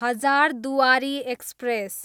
Hazarduari express